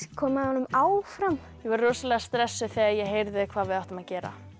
koma honum áfram ég var rosalega stressuð þegar ég heyrði hvað við áttum að gera